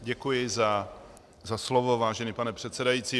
Děkuji za slovo, vážený pane předsedající.